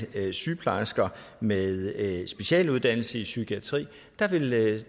sygeplejersker med specialuddannelse i psykiatri vil